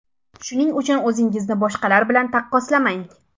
Shuning uchun o‘zingizni boshqalar bilan taqqoslamang.